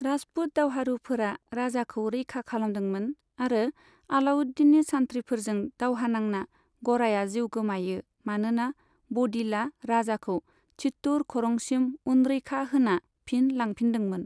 राजपुत दावहारुफोरा राजाखौ रैखा खालामदोंमोन आरो अलाउद्दीननि सान्थ्रिफोरजों दावहा नांना गराया जिउ गोमायो मानोना बदिलआ राजाखौ चित्तौड़ खरंसिम उनरैखा होना फिन लांफिनदोंमोन।